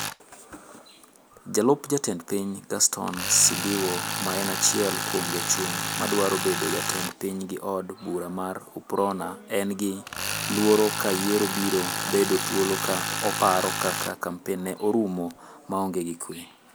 Jalup jatend piny Gaston Sindiwo ma e achiel kuom jochung' madwaro bedo jatend ping gi od bura mar UPRONA en gi luoro ka yiero biro bedo thuolo ka oparo kaka kampen ne orumo maonge gi kuwe.